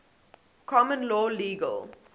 common law legal